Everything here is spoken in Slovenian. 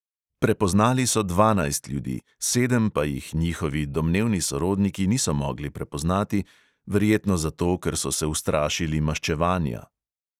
Prepoznali so dvanajst ljudi, sedem pa jih njihovi domnevni sorodniki niso mogli prepoznati, verjetno zato, ker so se ustrašili maščevanja.